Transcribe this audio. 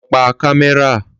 Lọ pa kámẹ́rà